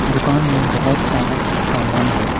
दुकान में बहुत सारा सामान है।